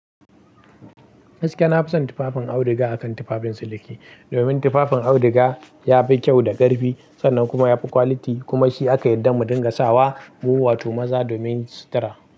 Gaskiya na fi son tufafin auduga akan tufafin siliki. Domin tufafin auduga yafi kyau da ƙarfi sannan kuma yafi quality kuma shi aka yarda mu dinga sawa muwato maza domin sutura.